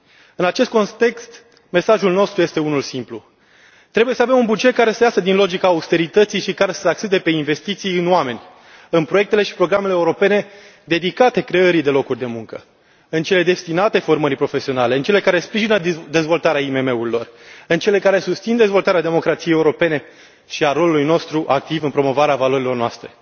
În acest context, mesajul nostru este unul simplu trebuie să avem un buget care să iasă din logica austerității și care să se axeze pe investiții în oameni, în proiectele și programele europene dedicate creării de locuri de muncă, în cele destinate formării profesionale, în cele care sprijină dezvoltarea IMM urilor, în cele care susțin dezvoltarea democrației europene și a rolului nostru activ în promovarea valorilor noastre.